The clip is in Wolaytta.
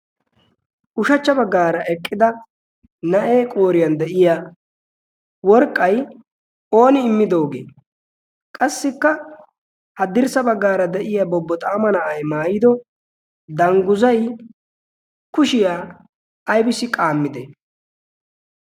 ushachcha baggaara eqqida na'ee qooriyan de'iya worqqay ooni immidoogee qassikka haddirssa baggaara de'iya bobbo xaama na'ay maayido dangguzay kushiyaa aybisi qaammide